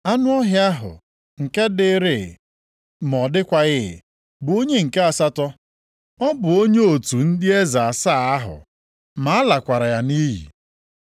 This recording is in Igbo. Anụ ọhịa ahụ nke dịrịị ma ọ dịkwaghị, bụ onye nke asatọ, ọ bụ onye otu ndị eze asaa ahụ ma a lakwara ya nʼiyi.